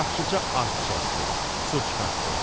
Yaxşıca arx çəkdi, su çıxartdı.